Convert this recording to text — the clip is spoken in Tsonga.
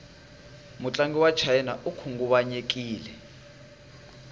mutlangi wachina ikhunguvanyekile